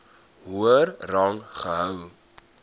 hoër rang gehou